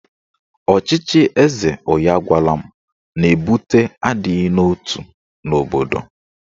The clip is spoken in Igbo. Ọchịchị eze onye agwala m na-ebute adịghị n'otu n'obodo.